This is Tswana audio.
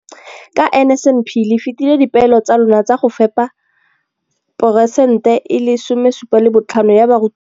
Ka NSNP le fetile dipeelo tsa lona tsa go fepa 75 percent ya barutwana ba mo nageng.